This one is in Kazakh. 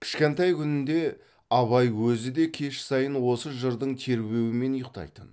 кішкентай күнінде абай өзі де кеш сайын осы жырдың тербеуімен ұйықтайтын